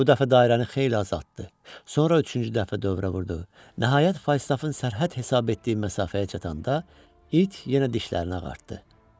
Bu dəfə dairəni xeyli azaltdı, sonra üçüncü dəfə dövrə vurdu, nəhayət Faustafın sərhəd hesab etdiyi məsafəyə çatanda it yenə dişlərini ağartdı.